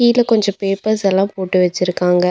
இங்க கொஞ்சோ பேப்பர்ஸ்ஸெல்லா போட்டு வெச்சுருக்காங்க.